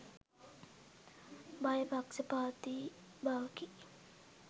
භය පක්ෂපාතී බවකි.